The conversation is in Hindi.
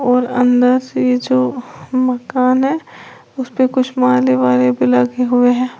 और अंदर से जो मकान है उसेपे कुछ माले बाले भी लगे हुए हैं।